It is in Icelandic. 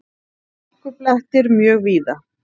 Hálkublettir mjög víða